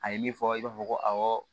A ye min fɔ i b'a fɔ ko awɔ